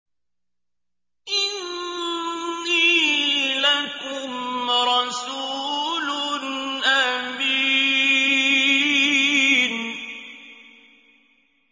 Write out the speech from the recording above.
إِنِّي لَكُمْ رَسُولٌ أَمِينٌ